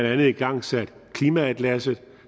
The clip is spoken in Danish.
andet igangsat klimaatlasset